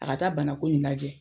A ka taa bana ko in lajɛ.